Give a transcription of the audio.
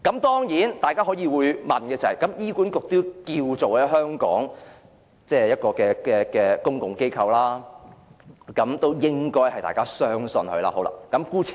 大家當然會說道，醫管局在香港亦是公共機構，大家應該相信醫管局。